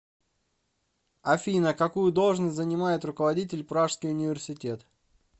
афина какую должность занимает руководитель пражский университет